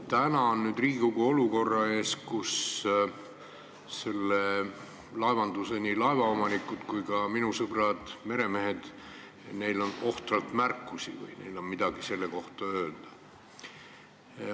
Riigikogu on praegu olukorras, kus nii laevaomanikel kui ka minu sõpradel meremeestel on ohtralt märkusi või midagi öelda selle eelnõu kohta.